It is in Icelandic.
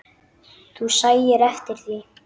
Þú sæir eftir því.